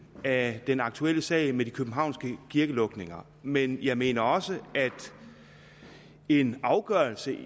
af den aktuelle sag med de københavnske kirkelukninger men jeg mener også at en afgørelse